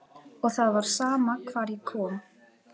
Og það var sama hvar ég kom.